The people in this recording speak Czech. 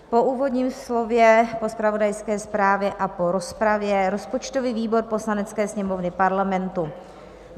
Po úvodním slově, po zpravodajské zprávě a po rozpravě rozpočtový výbor Poslanecké sněmovny Parlamentu